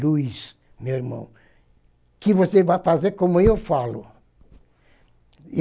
Luiz, meu irmão, que você vai fazer como eu falo?